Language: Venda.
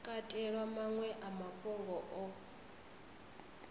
katelwa maṅwe a mafhungo o